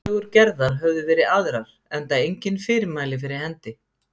En tillögur Gerðar höfðu verið aðrar, enda engin fyrirmæli fyrir hendi.